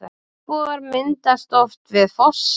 Regnbogar myndast oft við fossa.